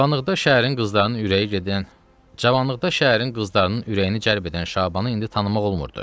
Cavanlıqda şəhərin qızlarının ürəyi gedən, Cavanlıqda şəhərin qızlarının ürəyini cəlb edən Şabanı indi tanımaq olmurdu.